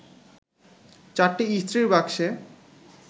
চারটি ইস্ত্রির বাক্সে